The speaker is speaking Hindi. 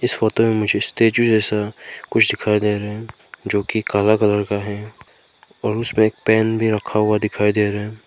इस फोटो में मुझे स्टैचू जैसा कुछ दिखाई दे रहा है जो कि काला कलर का है और उसमें एक पेन भी रखा हुआ दिखाई दे रहा है।